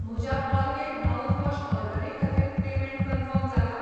म्हज्या Colgate mouthwash ऑर्डरी खातीर पेमेंट कन्फर्म जाला?